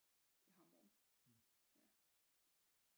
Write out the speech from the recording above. Hammerum ja